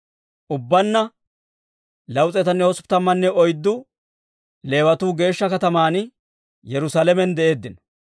Ubbaanna 284 Leewatuu geeshsha kataman Yerusaalamen de'eeddino.